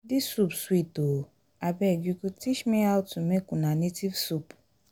dis soup sweet oo. abeg you go teach me how to make una native soup